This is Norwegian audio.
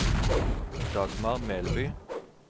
Dagmar Melby